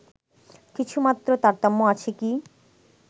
কিছুমাত্র তারতম্য আছে কি